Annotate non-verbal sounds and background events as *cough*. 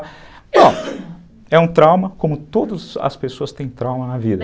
*coughs* é um trauma, como todas as pessoas têm trauma na vida.